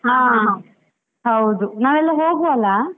ಹಾ, ಹೌದು ನಾವೆಲ್ಲ ಹೋಗುವ ಅಲಾ.